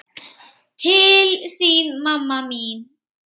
Til þín, mamma mín.